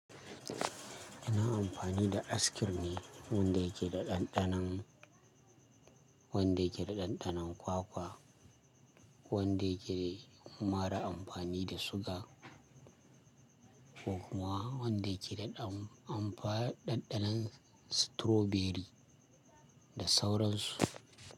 Ina amfani da Ice cream ne wanda yake ɗanɗanon. Ɗanɗanon kwakwa, wanda yake mara amfani da suga ko kuma wanda yake da ɗanɗanon strawberry da sauransu.